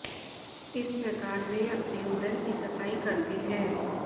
इस प्रकार वे अपने उदर की सफाई करते हैं